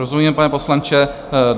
Rozumím, pane poslanče.